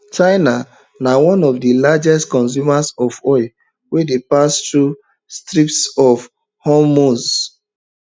china na one of di largest consumers of oil wey dey pass through strait of hormuz